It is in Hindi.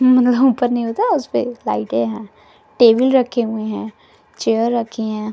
लाइटें है टेबल रखे हुए है चेयर रखे है।